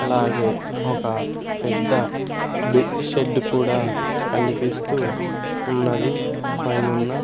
అలాగే ఒక పెద్ద బి షెడ్డు కూడా కనిపిస్తూ ఉన్నది పైనున్న.